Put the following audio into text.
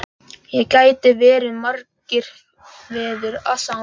Ekki geta verið margir feður að sama barni!